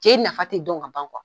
Je nafa tɛ dɔn ka ban kuwa.